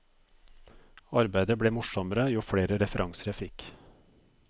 Arbeidet ble morsommere jo flere referanser jeg fikk.